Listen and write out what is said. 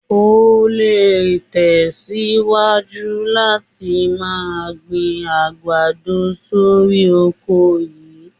O lè tẹ̀síwájú láti máa gbin àgbàdo sórí oko yìí.